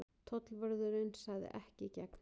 Tollvörðurinn sagði: Ekki í gegn.